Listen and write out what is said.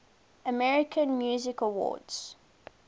american music awards